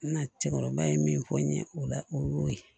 Na cɛkɔrɔba ye min fɔ n ye o la o y'o ye